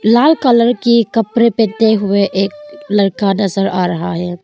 लाल colour के कपड़े हुए एक लड़का नजर आ रहा है।